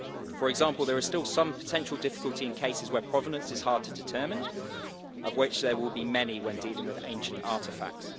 For example, there is still some potential difficulty in cases where provenance is hard to determine of which there will be many when dealing with ancient artefacts.